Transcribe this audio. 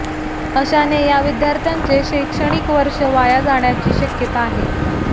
अशाने या विद्यार्थ्यांचे शैक्षणिक वर्ष वाया जाण्याची शक्यता आहे